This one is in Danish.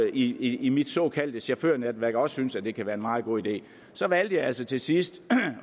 i i mit såkaldte chaufførnetværk som også synes at det kan være meget god idé valgte jeg altså til sidst